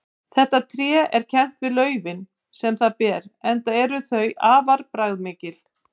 Þetta tré er kennt við laufin sem það ber enda eru þau afar bragðmikil.